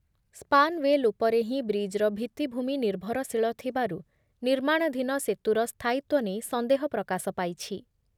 Span well ଉପରେ ହିଁ ବ୍ରିଜ୍‌ର ଭିତ୍ତିଭୂମି ନିର୍ଭରଶୀଳ ଥିବାରୁ ନିର୍ମାଣାଧୀନ ସେତୁର ସ୍ଥାୟିତ୍ଵ ନେଇ ସନ୍ଦେହ ପ୍ରକାଶ ପାଇଛି ।